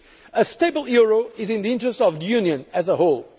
A stable euro is in the interest of the Union as a